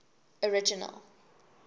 original